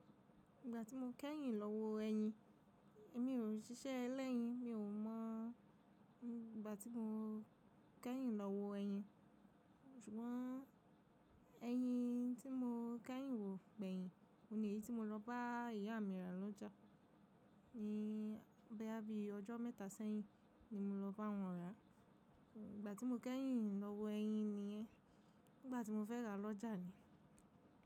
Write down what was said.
Ìgbà tí mo kẹ́yìn lọ wo ẹyin, èmi ò rí ṣíṣẹ́ ẹlẹ́yin, mi ò mọ̀. Ìgbà tí mo kẹ́yìn lọ wo ẹyin, ṣùgbọ́n ẹyin tí mo kẹ́yìn wò gbẹ́yìn, ni eyii tí mo lọ bá ìyá mi rà lọ́jà. Ni boya bí ọjọ́ mẹ́ta sẹ́yìn ni mo lọ bá wọn rà. Ìgbà tí mo kẹ́yìn lọ wo ẹyin nìyẹn. Nígbà tí mo fẹ́ rà lọ́jà ni.